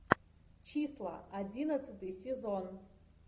числа одиннадцатый сезон